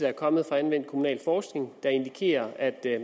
er kommet fra anvendt kommunalforskning der indikerer at